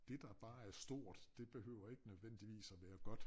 Det der bare er stort det behøver ikke nødvendigvis at være godt